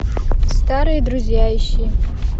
старые друзья ищи